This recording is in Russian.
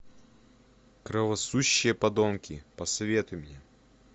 кровососущие подонки посоветуй мне